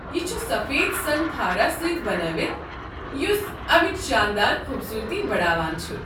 یہ چھ سفید سنگ خارا سۭتۍ بنٲوِتھ یُس امِچ شاندار خوبصورتی بڑاوان چھُ۔